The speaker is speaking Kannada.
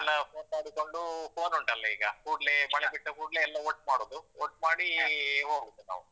ಎಲ್ಲಾ phone ಮಾಡಿಕೊಂಡು phone ಉಂಟಲ್ಲ ಈಗ ಕೂಡ್ಲೆ ಮಳೆ ಬಿಟ್ಟ ಕೂಡ್ಲೆ ಎಲ್ಲ ಒಟ್ ಮಾಡುದು, ಒಟ್ ಮಾಡಿ ಹೋಗುದು ನಾವು.